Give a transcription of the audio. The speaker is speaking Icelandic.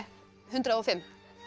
hundrað og fimm